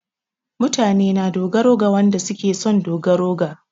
Mutane na dogara ga wanɗa suke son su ɗogara ga.